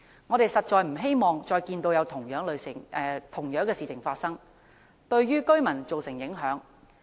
我們實在不希望再看到類似事情發生，對居民造成影響。